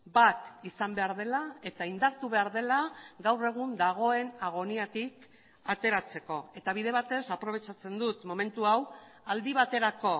bat izan behar dela eta indartu behar dela gaur egun dagoen agoniatik ateratzeko eta bide batez aprobetxatzen dut momentu hau aldi baterako